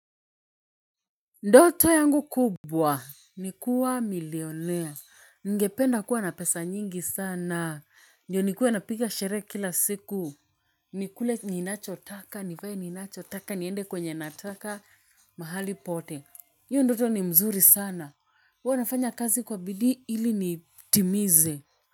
Ndoto yangu kubwa, ni kuwa milionea, ningependa kuwa na pesa nyingi sana, ndio nikuwe napiga sherehe kila siku, nikule ninacho taka, nivae ninacho taka, niende kwenye nataka mahali pote, hiyo ndoto ni mzuri sana, huwa nafanya kazi kwa bidii ili nitimize.